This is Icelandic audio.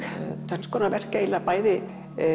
tvenns konar verk eiginlega bæði